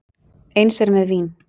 Eins er með vín.